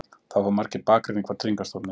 Þá fá margir bakreikning frá Tryggingastofnun